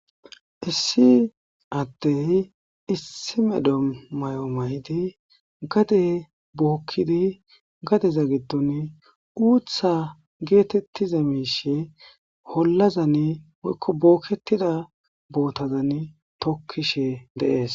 Issi addey issi medo may'o may'di gade bookkidi gadeza giddon uutha geetettiza miishe hollazan woykko bookketida bootazan tokkishe deees.